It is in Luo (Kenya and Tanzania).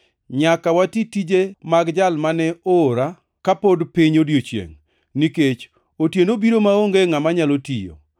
Nyaka wati tije mag Jal mane oora ka pod piny odiechiengʼ, nikech otieno biro maonge ngʼama nyalo tiyo.